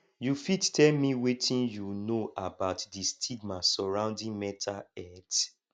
you fit tell me wetin you know about di stigma surrounding mental health